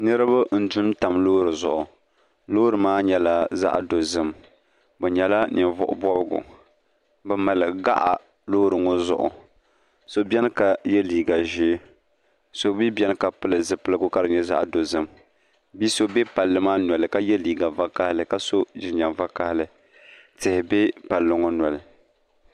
Niriba n-dun tam loori zuɣu loori maa nyɛla zaɣ' dozim bɛ nyɛla ninvuɣ' bɔbigu bɛ mali gaɣa loori ŋɔ zuɣu so beni ka ye liiga ʒee so mi beni ka pili zipiligu ka di nyɛ zaɣ' dozim bi' so be palli maa noli ka ye liiga vakahili ka so jinjam vakahili tihi be palli ŋɔ noli